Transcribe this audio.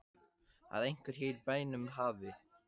Að einhver hér í bænum hafi.